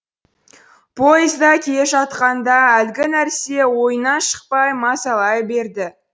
поезда келе жатқанда әлгі нәрсе ойынан шықпай мазалай берді